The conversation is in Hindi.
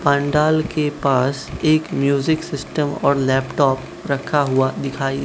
पांडाल के पास एक म्यूजिक सिस्टम और लैपटॉप रखा हुआ दिखाई--